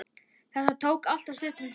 Þetta tók alltof stuttan tíma.